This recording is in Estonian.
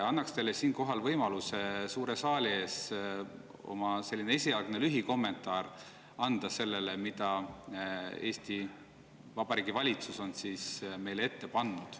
Pakun teile siinkohal võimalust anda suure saali ees oma esialgne lühikommentaar selle kohta, mida Eesti Vabariigi valitsus on meile ette pannud.